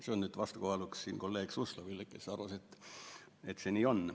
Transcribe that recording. See oli öeldud vastukaaluks kolleeg Suslovile, kes arvas, et see nii on.